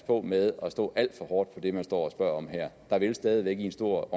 på med at stå alt for hårdt på det man står og spørger om her der vil jo stadig væk i en stor